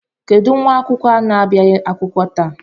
Kedụ nwa akwụkwọ na-abịaghị akwụkwọ taa?